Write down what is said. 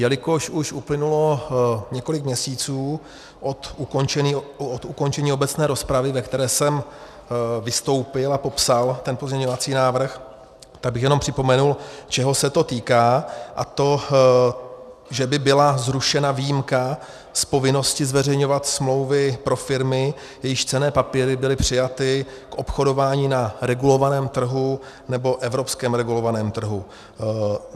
Jelikož už uplynulo několik měsíců od ukončení obecné rozpravy, ve které jsem vystoupil a popsal ten pozměňovací návrh, tak bych jenom připomenul, čeho se to týká, a to, že by byla zrušena výjimka z povinnosti zveřejňovat smlouvy pro firmy, jejichž cenné papíry byly přijaty k obchodování na regulovaném trhu nebo evropském regulovaném trhu.